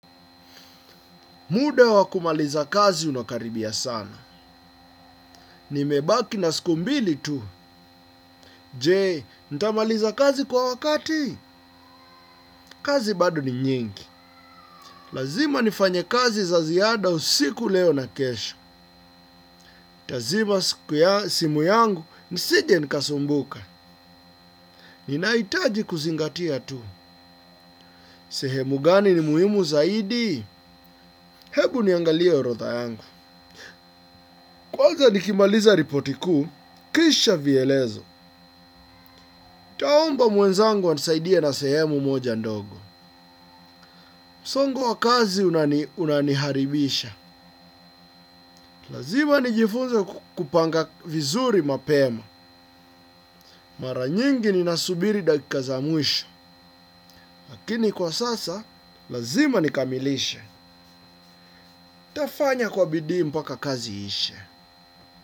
Muda wa kumaliza kazi unakaribia sana. Nimebaki na siku mbili tu. Jee, ntamaliza kazi kwa wakati? Kazi bado ni nyingi. Lazima nifanye kazi za ziada usiku leo na kesho. Ntazima siku ya simu yangu nisije nikasumbuka. Ninahitaji kuzingatia tu. Sehemu gani ni muhimu zaidi? Hebu niangalie orotha yangu. Kwanza nikimaliza ripoti kuu, kisha vielezo. Nitaomba mwenzangu anisaidie na sehemu moja ndogo. Msongo wa kazi unani unaniharibisha. Lazima nijifunze kupanga vizuri mapema. Maranyingi ninasubiri dakika za mwisho. Lakini kwa sasa, lazima nikamilishe. Nitafanya kwa bidii mpaka kazi iishe.